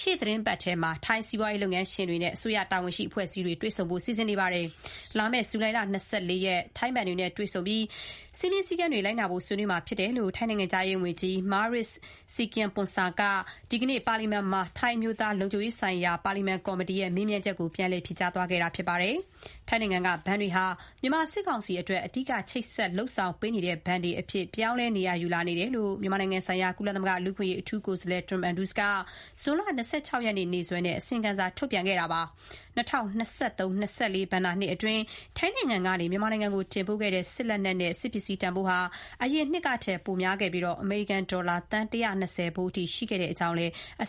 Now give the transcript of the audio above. ရှေ့သီတင်းပတ် ထိုင်း စီးပွားရေး ဘဏ်လုပ်ငန်းရှင်တွေနဲ့ အစိုးရ တာဝန်ရှိ အဖွဲ့အစည်းတွေ တွေ့ဆုံဖို့ စီစဉ်နေပါတယ်။ လာမယ့် ဂျုလိုင်လ ၂၄ ရက် ထိုင်းဘဏ်တွေနဲ့ တွေ့ဆုံပြီး စည်းမျဉ်းစည်းကမ်းတွေ လိုက်နာဖို့ ဆွေးနွေးမှာဖြစ်တဲ့အကြောင်း ထိုင်းနိုင်ငံခြားရေးဝန်ကြီး Maris Sangiampongsa က ဒီနေ့ ပါလီမန်မှာ ထိုင်း အမျိုးသား လုံခြုံရေးဆိုင်ရာ ပါလီမန်ကော်မတီရဲ့ မေးမြန်းချက်ကို ပြန်လည် ဖြေကြားတာပါ။ ထိုင်းနိုင်ငံက ဘဏ်တွေဟာ မြန်မာစစ်ကောင်စီအတွက် အဓိက ချိတ်ဆက် လုပ်ဆောင်ပေးနေတဲ့ ဘဏ်တွေအဖြစ် ပြောင်းလဲ နေရာယူလာနေတယ်လို့ မြန်မာနိုင်ငံဆိုင်ရာ ကုလသမဂ္ဂ လူ့အခွင့်အရေးအထူးကိုယ်စားလှယ် Tom Andrews က ဇွန်လ ၂၆ ရက်နေ့ ရက်စွဲနဲ့ အစီရင်ခံစာ ထုတ်ပြန်ခဲ့ပါတယ်။ ၂၀၂၃-၂၀၂၄ ဘဏ္ဍာရေးနှစ်အတွင်း ထိုင်းနိုင်ငံကနေ မြန်မာနိုင်ငံကို တင်ပို့ခဲ့တဲ့ စစ်လက်နက်နဲ့ စစ်ပစ္စည်း တန်ဖိုးဟာ အရင်နှစ်ကထက် နှစ်ပိုများခဲ့ပြီး အမေရိကန်ဒေါ်လာ သန်း ၁၂၀ ဖိုးအထိ ရှိတဲ့အကြောင်းလည်း အစ